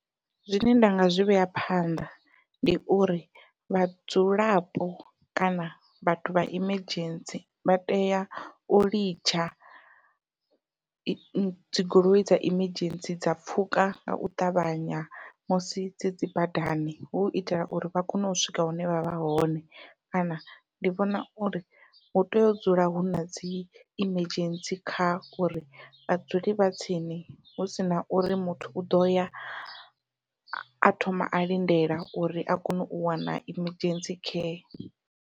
Zwine nda nga zwi vhea phanḓa ndi uri vhadzulapo kana vhathu vha emergency vha tea u litsha dzi goloi dza emergency dza pfhuka ngau ṱavhanya musi dzi dzi badani, hu itela uri vha kone u swika hune vha vha hone kana ndi vhona uri hu tea u dzula huna dzi emergency car uri vha dzule vha tsini hu sina uri muthu u ḓoya a thoma a lindela uri a kone u wana emergency care.